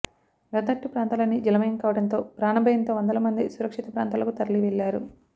లోతట్టు ప్రాంతాలన్నీ జలమయం కావడంతో ప్రాణ భయంతో వందల మంది సురక్షిత ప్రాంతాలకు తరలివెళ్లారు